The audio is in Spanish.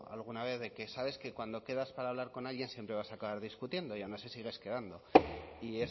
alguna vez de que sabes que cuando quedas para hablar con alguien siempre vas a acabar discutiendo y aun así sigues quedando y